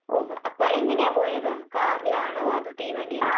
ഓഹ്. അപ്പോ എങ്ങനെയാ പോയത്? കാറിലാണോ അതോ തീവണ്ടിയിലാണോ?